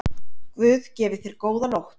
Guð gefi þér góða nótt.